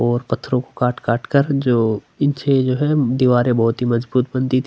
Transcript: और पथरो को काट - काट कर जो पीछे जो हैं दीवारे बहुत ही मजबूत बनती थी।